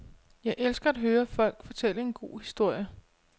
Jeg elsker at høre folk fortælle en god historie.